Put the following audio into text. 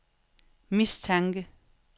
mistanke